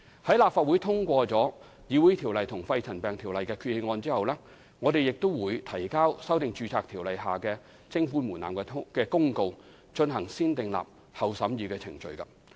在立法會通過《條例》和《肺塵埃沉着病及間皮瘤條例》的擬議決議案後，我們亦會提交修訂《建造業工人註冊條例》下的徵款門檻的公告，進行"先訂立後審議"的程序。